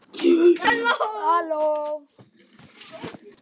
Loks ákváðum við að hvíla okkur.